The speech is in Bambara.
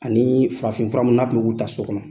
Ani farafin fura mun n'a tun mu k'u ta so kɔnɔ